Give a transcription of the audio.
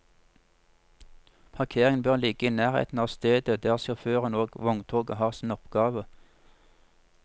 Parkeringen bør ligge i nærheten av stedet der sjåføren og vogntoget har sin oppgave.